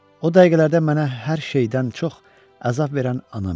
O dəqiqələrdə mənə hər şeydən çox əzab verən anam idi.